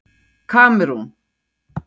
Kamerún